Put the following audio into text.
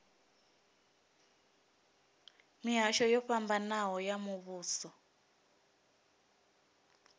mihasho yo fhambanaho ya muvhuso